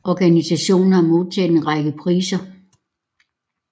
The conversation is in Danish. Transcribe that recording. Organisationen har modtaget en række priser